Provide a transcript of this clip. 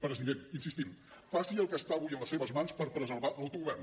president hi insistim faci el que està avui en les seves mans per preservar l’autogovern